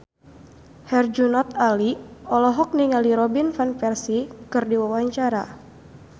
Herjunot Ali olohok ningali Robin Van Persie keur diwawancara